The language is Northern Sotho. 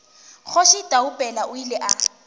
kgoši taupela o ile a